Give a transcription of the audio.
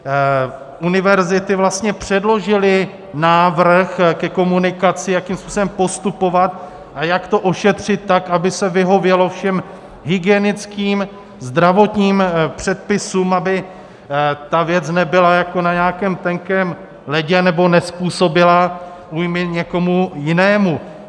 Univerzity vlastně předložily návrh ke komunikaci, jakým způsobem postupovat a jak to ošetřit tak, aby se vyhovělo všem hygienickým, zdravotním předpisům, aby ta věc nebyla jako na nějakém tenkém ledě nebo nezpůsobila újmy někomu jinému.